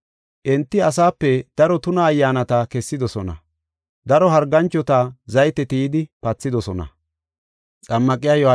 Enti asape daro tuna Ayyaanata kessidosona. Daro harganchota zayte tiyidi pathidosona.